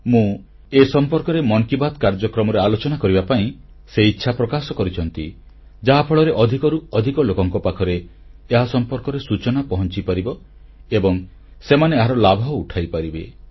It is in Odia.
ମୁଁ ଏ ସମ୍ପର୍କରେ ମନ୍ କି ବାତ୍ କାର୍ଯ୍ୟକ୍ରମରେ ଆଲୋଚନା କରିବା ପାଇଁ ସେ ଇଚ୍ଛା ପ୍ରକାଶ କରିଛନ୍ତି ଯାହାଫଳରେ ଅଧିକରୁ ଅଧିକ ଲୋକଙ୍କ ପାଖରେ ଏ ସମ୍ପର୍କିତ ସୂଚନା ପହଂଚିପାରିବ ଏବଂ ସେମାନେ ଏହାର ଲାଭ ଉଠାଇପାରିବେ